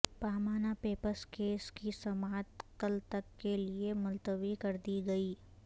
Panama papers case کی سماعت کل تک کے لیے ملتوی کردی گئی